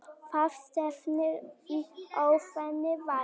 Það stefnir í óefni þar.